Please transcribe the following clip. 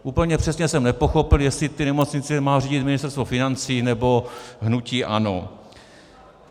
Úplně přesně jsem nepochopil, jestli ty nemocnice má řídit Ministerstvo financí, nebo hnutí ANO.